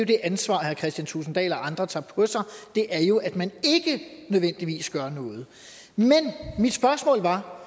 det ansvar herre kristian thulesen dahl og andre tager på sig det er jo at man ikke nødvendigvis gør noget men mit spørgsmål var